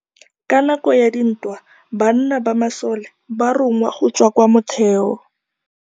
Ka nakô ya dintwa banna ba masole ba rongwa go tswa kwa mothêô.